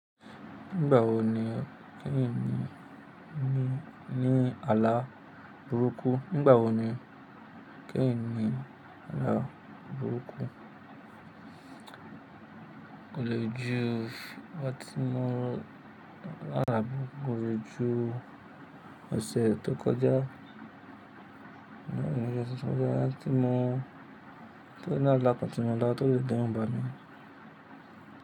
Nígbà wo ni kí n ní ní, ní àlá burúkú? Nígbà wo ni kí n ní àlá burúkú? Olójúu, ọjo tí mọ́ làlá burúkú. Olójúu, ọ̀sẹ̀ tó kọjá, ọtí mọ́, tó ni àla kan ti mọ̀ la náà tó n d'eru bami.